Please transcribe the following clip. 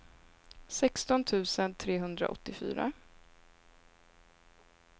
sexton tusen trehundraåttiofyra